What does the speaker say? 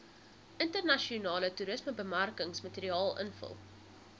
internasionale toerismebemarkingsmateriaal invul